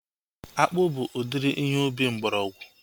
Akpụ bụ udiri ihe ubi mgbọrọgwụ